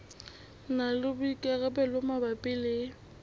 na le boikarabelo mabapi le